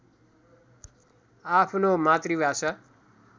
आफ्नो मातृभाषा